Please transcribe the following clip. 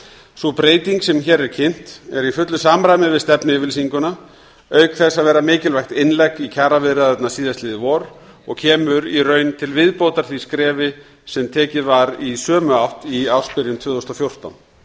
sú breyting sem hér er kynnt er í fullu samræmi við stefnuyfirlýsinguna auk þess að vera mikilvægt innlegg í kjaraviðræðurnar síðastliðið vor og kemur í raun til viðbótar því skrefi sem tekið var í sömu átt í ársbyrjun tvö þúsund og fjórtán